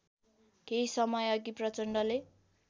केही समयअघि प्रचण्डले